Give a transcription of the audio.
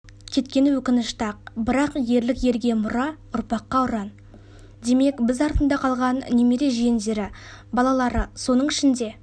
кеткені өкінішті-ақ бірақ ерлік ерге иұра ұрпаққа-ұран демек біз артында қалған немере-жиендері балалары соның ішінде